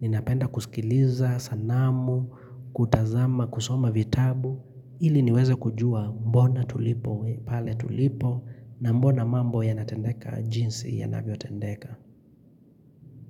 Ninapenda kusikiliza, sanamu, kutazama, kusoma vitabu Ili niweze kujua mbona tulipo pale tulipo na mbona mambo ya natendeka jinsi ya navotendeka.